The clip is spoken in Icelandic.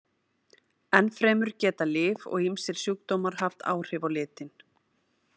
Ennfremur geta lyf og ýmsir sjúkdómar haft áhrif á litinn.